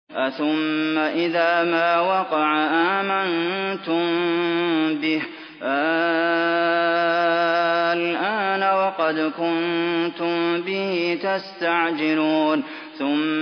أَثُمَّ إِذَا مَا وَقَعَ آمَنتُم بِهِ ۚ آلْآنَ وَقَدْ كُنتُم بِهِ تَسْتَعْجِلُونَ